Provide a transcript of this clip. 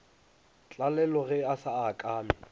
tlalelo ge a sa akame